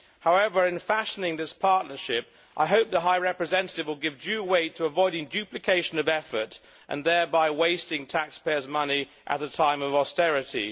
However, in fashioning this partnership, I hope the High Representative will give due weight to avoiding duplication of effort and thereby the wasting of taxpayers' money at a time of austerity.